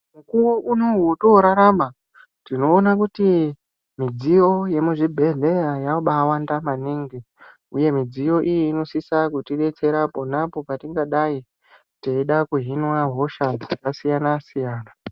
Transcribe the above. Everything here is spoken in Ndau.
Mukuwo unowu watorarama tinoona kuti mudziyo yemuzvibheleya yabawanda maningi uye mudziyo iyi inosisa kutibetsera ponapo patoda kuhinwa hosha dzakasiyana siyana .